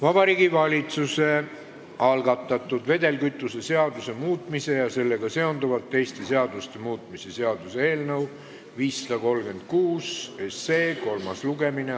Vabariigi Valitsuse algatatud vedelkütuse seaduse muutmise ja sellega seonduvalt teiste seaduste muutmise seaduse eelnõu 536 kolmas lugemine.